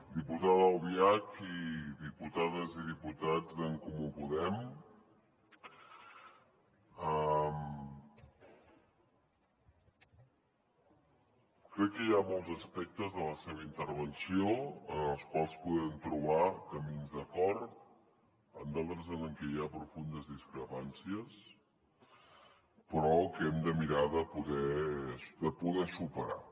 diputada albiach i diputades i diputats d’en comú podem crec que hi ha molts aspectes de la seva intervenció en els quals podem trobar camins d’acord en d’altres en què hi ha profundes discrepàncies però que hem de mirar de poder superar